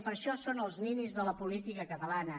per això són els ninis de la política catalana